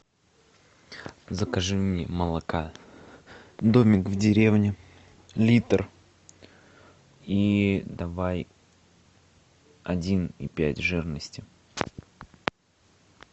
закажи мне молока домик в деревне литр и давай один и пять жирности